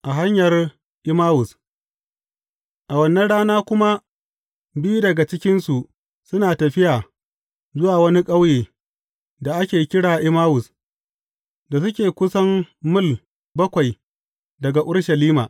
A hanyar Emmawus A wannan rana kuma, biyu daga cikinsu suna tafiya zuwa wani ƙauye, da ake kira Emmawus, da suke kusan mil bakwai daga Urushalima.